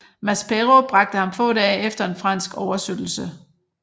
Maspero bragte ham få dage efter en fransk oversøttelse